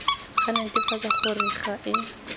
go netefatsa gore ga e